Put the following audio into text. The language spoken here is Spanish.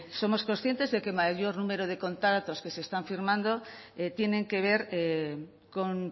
somos conscientes de que mayor número de contratos que se están firmando tienen que ver con